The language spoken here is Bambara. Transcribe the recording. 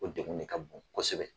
O degun de ka bon kosɛbɛ